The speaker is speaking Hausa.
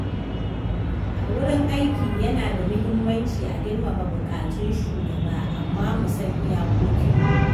A wurin aiki yana da muhimmanci a girmama buƙatun shugaba amma mu san iyakokinmu.